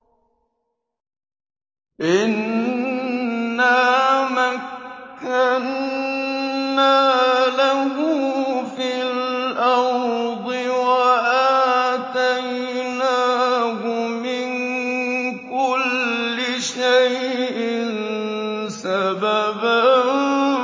إِنَّا مَكَّنَّا لَهُ فِي الْأَرْضِ وَآتَيْنَاهُ مِن كُلِّ شَيْءٍ سَبَبًا